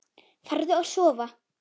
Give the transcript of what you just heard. Farðu að sofa.